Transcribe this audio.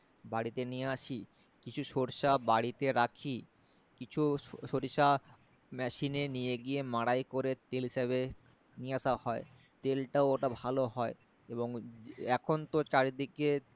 বাড়িতে নিয়ে আসি কিছু সরিষা বাড়িতে রাখি কিছু সরিষা মেশিনে নিয়ে গিয়ে মাড়াই করে তেল হিসেবে নিয়ে আশা হয় তেলটাও ওটা ভালো হয় এবং এখন তো চারিদিকে